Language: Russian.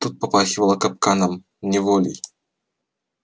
тут попахивало капканом неволей